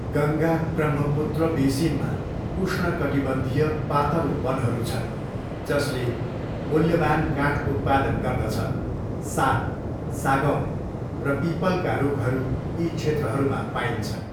गङ्गा ब्रह्मपुत्र बेसिनमा उष्णकटिबन्धीय पातलो वनहरू छन् जसले मूल्यवान् काठ उत्पादन गर्दछ, साल, सागौन र पिपलका रुखहरू यी क्षेत्रहरूमा पाइन्छन्।